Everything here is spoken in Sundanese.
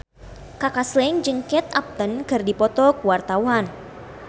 Kaka Slank jeung Kate Upton keur dipoto ku wartawan